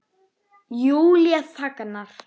Júlía þagnar.